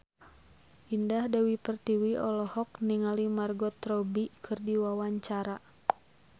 Indah Dewi Pertiwi olohok ningali Margot Robbie keur diwawancara